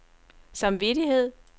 samvittighed